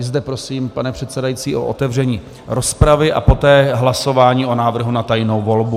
I zde prosím, pane předsedající, o otevření rozpravy a poté hlasování o návrhu na tajnou volbu.